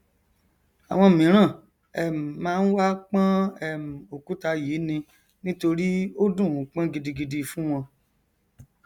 àwọn míràn um máa n wá pọn um òkúta yìí ni nítorí ó dùnún pọn gidigidi fún wọn